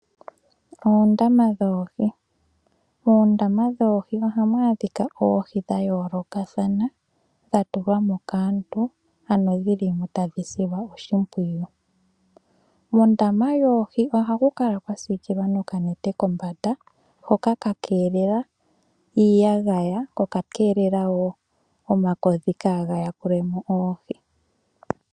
Oondama dhoohi. Moondama dhoohi ohamu adhika oohi dha yoolokathana, dha tulwa mo kaantu, ano dhi li mo tadhi silwa oshimpwiyu. Kondama yoohi ohaku kala kwa siikilwa nokanete kombanda hoka ka keelela iiyagaya ko oka keelela wo omakodhi kaaga yakule mo oohi.